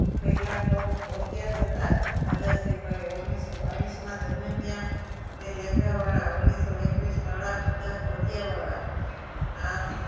પહેલા તો ધોતિયા જ હતા દાદા શ્રી કહે ઓગણીસો બાવીસમાં જનમિયા તે લેન્ગા વાળા ઓગણીસો એકવીસ ફાળિયા વાળા બધા ધોતિયા વાળા